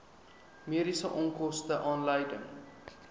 mediese onkoste aanleiding